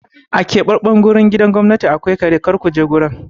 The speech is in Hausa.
A keɓaɓɓen gurin gidajen gwamnati akwai kare, kar ku je gurin!